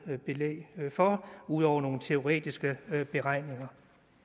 belæg for ud over nogle teoretiske beregninger